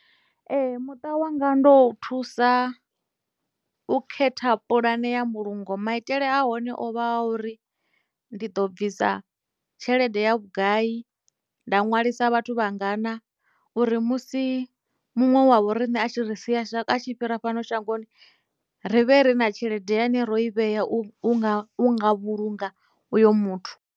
Ee muṱa wanga ndo u thusa u khetha pulane ya mbulungo maitele a hone o vha a uri ndi ḓo bvisa tshelede ya vhugai nda ṅwalisa vhathu vhangana uri musi muṅwe wavho riṋe a tshi ri sia a tshi fhira fhano shangoni ri vhe ri na tshelede ine ro i vhea unga vhulunga uyo muthu.